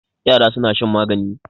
Yara suna shan magani.